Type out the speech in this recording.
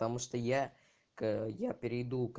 потому что я к оп